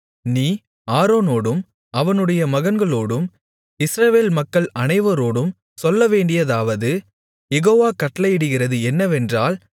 நீ ஆரோனோடும் அவனுடைய மகன்களோடும் இஸ்ரவேல் மக்கள் அனைவரோடும் சொல்லவேண்டியதாவது யெகோவா கட்டளையிடுகிறது என்னவென்றால்